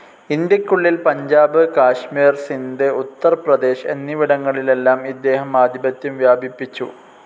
ഇന്ത്യക്കുള്ളിൽ പഞ്ചാബ്, കാശ്മീർ, സിന്ധ്, ഉത്തർ പ്രദേശ് എന്നിവിടങ്ങളിലെല്ലാം ഇദ്ദേഹം ആധിപത്യം വ്യാപിപ്പിച്ചു.